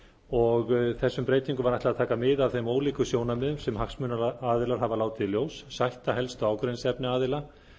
og þessum breytingum var ætlað að taka mið af þeim ólíku sjónarmiðum sem hagsmunaaðilar hafa látið í ljós sætta helstu ágreiningsefni aðila